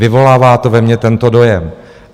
Vyvolává to ve mně tento dojem.